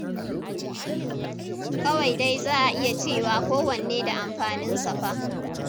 Kawai dai za a iya cewa kowanne da amfaninsa fa.